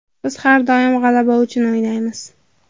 Biz har doim g‘alaba uchun o‘ynaymiz.